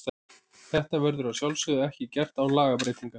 Þetta verður að sjálfsögðu ekki gert án lagabreytingar.